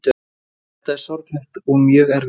Þetta er sorglegt og mjög erfitt